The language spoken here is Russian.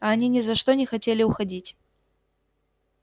а они ни за что не хотели уходить